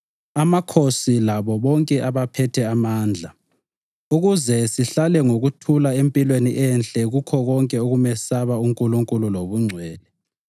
amakhosi labo bonke abaphethe amandla ukuze sihlale ngokuthula empilweni enhle kukho konke ukumesaba uNkulunkulu lobungcwele.